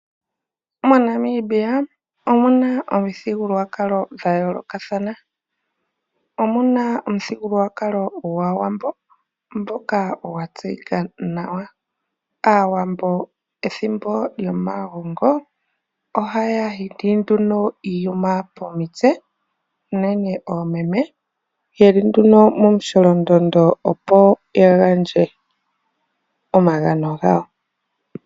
MoNamibia omu na omithigululwa dha yoolokathana. Omu na omuthigululwakalo gwAawambo ngoka gwa tseyika nawa. Aawambo pethimbo lyomagongo ohaya humbata iiyuma pomitse, unene oomeme, ye li nduno momukweyo, opo ya gandje omagano gawo.